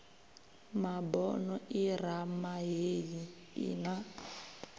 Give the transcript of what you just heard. mabono irama heyi i na